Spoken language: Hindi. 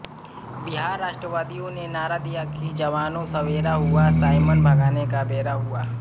बिहार राष्ट्रवादियों ने नारा दिया कि जवानों सवेरा हुआ साइमन भगाने का बेरा हुआ